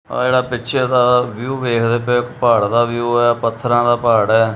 ਆਹ ਜਿਹੜਾ ਪਿੱਛੇ ਦਾ ਵਿਊ ਵੇਖਦੇ ਪਏ ਔ ਪਹਾੜਾਂ ਦਾ ਵਿਊ ਐ ਪੱਥਰਾਂ ਦਾ ਪਹਾੜ ਐ।